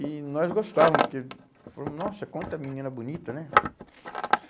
E nós gostávamos, porque falamos, nossa, quanta menina bonita, né?